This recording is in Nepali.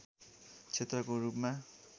क्षेत्रको रूपमा